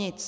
Nic.